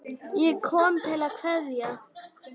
Ég kom til að kveðja.